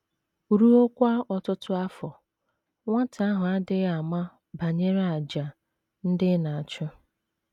Ruokwa ọtụtụ afọ, nwata ahụ adịghị ama banyere àjà ndị ị na - achụ.